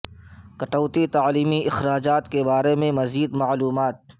کٹوتی تعلیمی اخراجات کے بارے میں مزید معلومات کے لئے